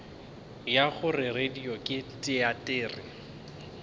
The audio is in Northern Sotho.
ya gore radio ke teatere